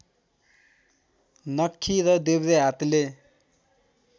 नख्खी र देब्रे हातले